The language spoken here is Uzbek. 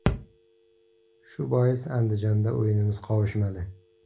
Shu bois Andijonda o‘yinimiz qovushmadi.